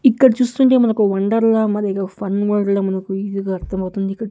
ఇక్కడ చూస్తుంటే మనకు వండర్ లా మారిగా ఒ ఫన్ ఓల్డ్ లా మనకు ఈజీ గా అర్ధమవుతుంది ఇక్కడ్ --